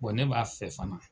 Bɔn ne b'a fɛ fana